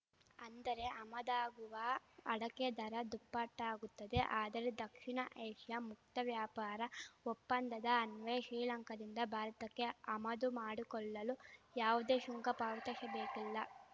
ಅಂದರೆ ಆಮದಾಗುವ ಅಡಕೆ ದರ ದುಪ್ಪಟ್ಟಾಗುತ್ತದೆ ಆದರೆ ದಕ್ಷಿಣ ಏಷ್ಯಾ ಮುಕ್ತ ವ್ಯಾಪಾರ ಒಪ್ಪಂದದ ಅನ್ವಯ ಶ್ರೀಲಂಕಾದಿಂದ ಭಾರತಕ್ಕೆ ಆಮದು ಮಾಡಿಕೊಳ್ಳಲು ಯಾವುದೇ ಶುಂಕ ಪಾವತಿಶಬೇಕಿಲ್ಲ